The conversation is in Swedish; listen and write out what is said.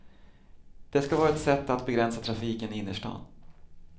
Det ska vara ett sätt att begränsa trafiken i innerstan.